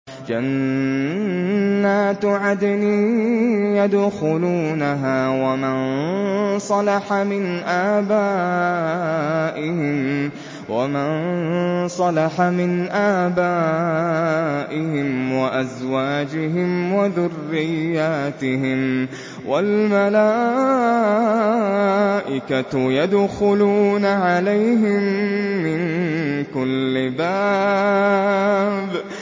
جَنَّاتُ عَدْنٍ يَدْخُلُونَهَا وَمَن صَلَحَ مِنْ آبَائِهِمْ وَأَزْوَاجِهِمْ وَذُرِّيَّاتِهِمْ ۖ وَالْمَلَائِكَةُ يَدْخُلُونَ عَلَيْهِم مِّن كُلِّ بَابٍ